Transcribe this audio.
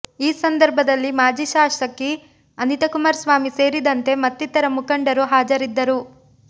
ಈ ಸಂದರ್ಭದಲ್ಲಿ ಮಾಜಿ ಶಾಸಕಿ ಅನಿತಾಕುಮಾರಸ್ವಾಮಿ ಸೇರಿದಂತೆ ಮತ್ತಿತರ ಮುಖಂಡರು ಹಾಜರಿದ್ದರು